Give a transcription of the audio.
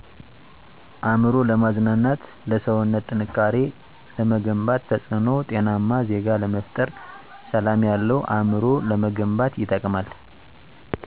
አእምሮ ለማዝናናት ለሰዉነት ጥንካሬ ለመገንባት ተፅእኖዉ ጤናማ ዜጋ ለመፍጠር ሰላም ያለዉ አእምሮ ለመገንባት ይጠቅማል